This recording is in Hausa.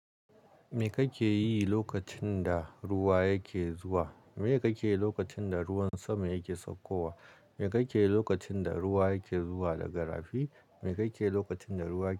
Me kake yi lokacin da ruwa yake zuwa? Meye kake yi lokacin da ruwan sama yake saukowa? Me kake yi lokacin da ruwa yake zuwa daga rafi? Me kake yi lokacin da ruwa ke.